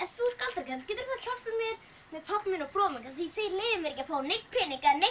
þú ert galdrakarl geturðu þá hjálpað mér með pabba minn og bróður því þeir leyfa mér ekki að fá neinn pening eða neitt